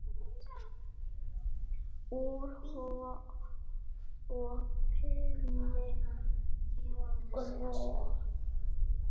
Úr opinni gröf.